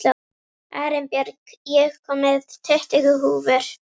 Arinbjörg, ég kom með tuttugu húfur!